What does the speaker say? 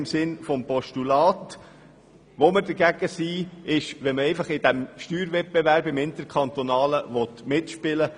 Wir sind aber dagegen, wenn es nur darum geht, einfach im interkantonalen Steuerwettbewerb mitzuspielen.